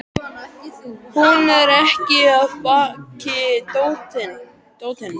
Hún er ekki af baki dottin.